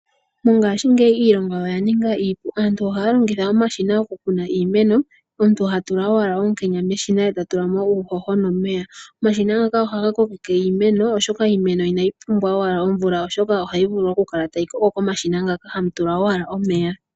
Mongashingeyi iilonga oya ninga iipu. Aantu ohaa longitha omashina okukuna iimeno, omuntu ha tula owala onkenya meshina ye ta tula mo uuhoho nomeya. Omashina ngaka ohaga kokeke iimeno, oshoka iimeno inayi pumbwa owala omvula oshoka ohayi vulu okukala tayi koko komashina ngaka hamu tulwa owala omeya.